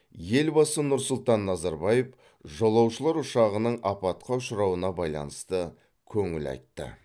елбасы нұр сұлтан назарбаев жолаушылар ұшағының апатқа ұшырауына байланысты көңіл айтты